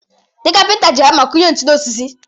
Ndị kapịnta ji hama akụnye ntu n'osisi